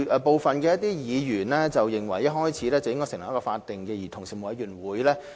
部分議員認為一開始便應成立一個法定的委員會。